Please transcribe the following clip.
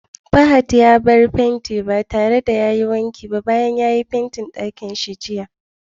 Fahad ya bar fenti ba tare da wanki ba bayan ya yi Fentin ɗakin shi jiya.